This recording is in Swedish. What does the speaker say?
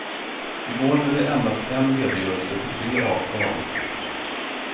I går blev det endast en redogörelse för tre avtal.